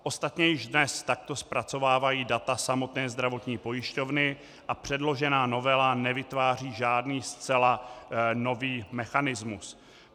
Ostatně již dnes takto zpracovávají data samotné zdravotní pojišťovny a předložená novela nevytváří žádný zcela nový mechanismus.